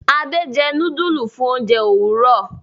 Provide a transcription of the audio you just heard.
Ade jé nudulu fún oúnjẹ Òwúrọ